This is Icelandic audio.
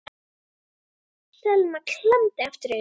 Selma klemmdi aftur augun.